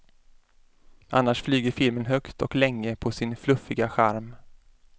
Annars flyger filmen högt och länge på sin fluffiga charm.